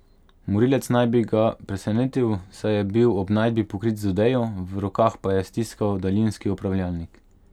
Morilec naj bi ga presenetil, saj je bil ob najdbi pokrit z odejo, v rokah pa je stiskal daljinski upravljalnik.